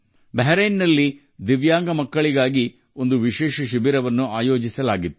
ಬಹ್ರೇನ್ನಲ್ಲಿ ದಿವ್ಯಾಂಗ ಮಕ್ಕಳಿಗಾಗಿ ವಿಶೇಷ ಶಿಬಿರ ಆಯೋಜಿಸಲಾಗಿತ್ತು